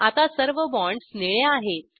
आता सर्व बॉण्ड्स निळे आहेत